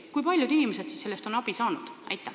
Kui paljud inimesed siis on sellest abi saanud?